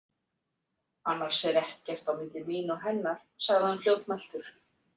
Annars er ekkert á milli mín og hennar, sagði hann fljótmæltur.